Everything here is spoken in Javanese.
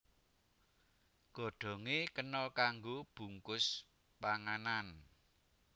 Godhongé kena kanggo bungkus panganan